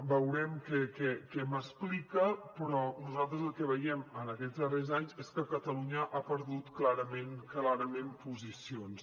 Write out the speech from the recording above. veurem què m’explica però nosaltres el que veiem en aquests darrers anys és que catalunya ha perdut clarament posicions